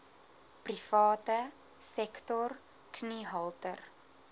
private sektor kniehalter